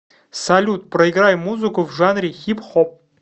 салют проиграй музыку в жанре хип хоп